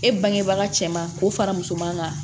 E bangebaa cɛman k'o fara musoman kan